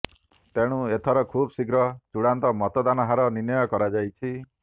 ତେଣୁ ଏଥର ଖୁବ୍ଶୀଘ୍ର ଚୂଡାନ୍ତ ମତଦାନ ହାର ନିର୍ଣ୍ଣୟ କରାଯାଇଛି